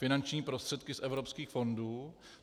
Finanční prostředky z evropských fondů.